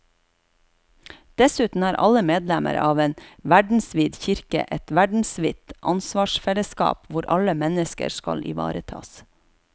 Dessuten er alle medlemmer av en verdensvid kirke og et verdensvidt ansvarsfellesskap hvor alle mennesker skal ivaretas.